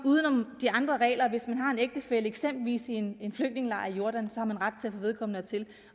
uden om de andre regler hvis man har en ægtefælle eksempelvis i en flygtningelejr i jordan har man ret til at få vedkommende hertil